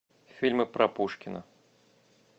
фильмы про пушкина